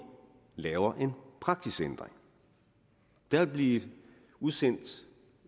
laver en praksisændring der vil blive udsendt et